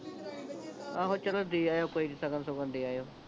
ਆਹੋ ਚਲੋ ਦੇ ਆਇਓ ਕੋਈ ਨਹੀਂ ਸ਼ਗਨ ਸ਼ੁਗਣ ਦੇ ਆਈਓ